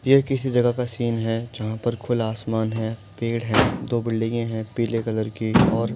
यह किसी जगह का सीन है जहा पर खुला आसमान है पेड़ है दो बिल्डिंगे है पीले कलर की और --